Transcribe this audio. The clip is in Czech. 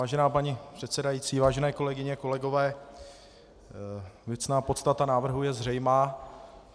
Vážená paní předsedající, vážené kolegyně, kolegové, věcná podstata návrhu je zřejmá.